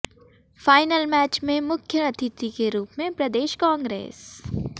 final match में मुख्य अतिथि के रूप में प्रदेश कांग्रेस